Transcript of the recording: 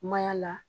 Mayaala